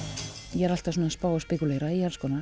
ég er alltaf svona að spá og spekúlera í alls konar